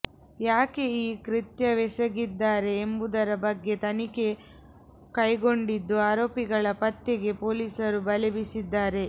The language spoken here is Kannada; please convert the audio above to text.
ಯಾಕೆ ಈ ಕೃತ್ಯವೆಸಗಿದ್ದಾರೆ ಎಂಬುದರ ಬಗ್ಗೆ ತನಿಖೆ ಕೈಗೊಂಡಿದ್ದು ಆರೋಪಿಗಳ ಪತ್ತೆಗೆ ಪೊಲೀಸರು ಬಲೆ ಬೀಸಿದ್ದಾರೆ